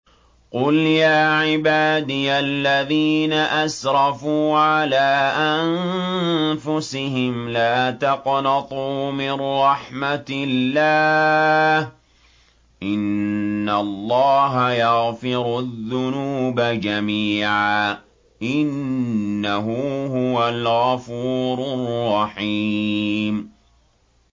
۞ قُلْ يَا عِبَادِيَ الَّذِينَ أَسْرَفُوا عَلَىٰ أَنفُسِهِمْ لَا تَقْنَطُوا مِن رَّحْمَةِ اللَّهِ ۚ إِنَّ اللَّهَ يَغْفِرُ الذُّنُوبَ جَمِيعًا ۚ إِنَّهُ هُوَ الْغَفُورُ الرَّحِيمُ